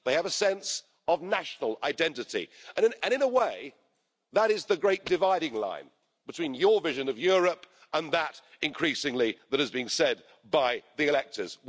They have a sense of national identity and in a way that is the great dividing line between your vision of Europe and that increasingly that is being said by the electors.